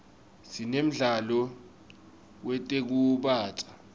sinemdlalo wetekusubatsa